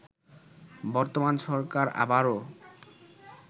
বর্তমান সরকার আবারও